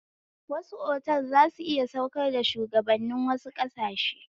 Wasu otal zasu iya saukar da shuwagabannin wasu ƙasashe